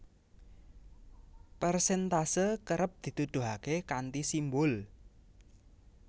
Persèntase kerep dituduhaké kanthi simbul